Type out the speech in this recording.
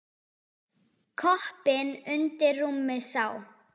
Koppinn undir rúmi sá.